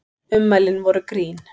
Ummælin voru grín